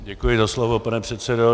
Děkuji za slovo, pane předsedo.